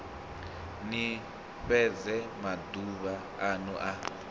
ni fhedze maduvha anu a